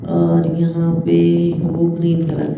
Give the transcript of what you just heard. और यहाँ पे ए वो ग्रीन कलर है।